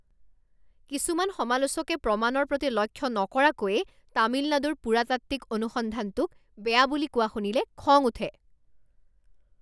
কিছুমান সমালোচকে প্ৰমাণৰ প্ৰতি লক্ষ্য নকৰাকৈয়েই তামিলনাডুৰ পুৰাতাত্ত্বিক অনুসন্ধানটোক বেয়া বুলি কোৱা শুনিলে খং উঠে।